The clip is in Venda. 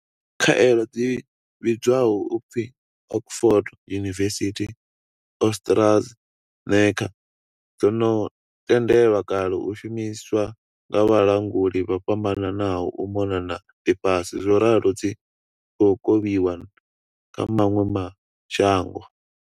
Khaelo dzi vhidzwaho u pfi Oxford University-AstraZe neca dzo no tendelwa kale u shumiswa nga vhalanguli vho fhambananaho u mona na ḽifhasi zworalo dzi khou kovhiwa kha maṅwe ma shango.